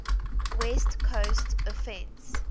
west coast offense